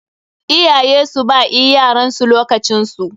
Iyaye su ba ea yaransu lokacin su.